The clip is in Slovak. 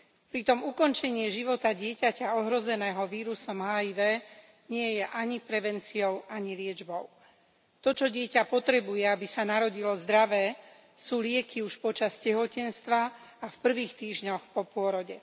Pritom ukončenie života dieťaťa ohrozeného vírusom HIV nie je ani prevenciou ani liečbou. To, čo dieťa potrebuje, aby sa narodilo zdravé, sú lieky už počas tehotenstva a v prvých týždňoch po pôrode.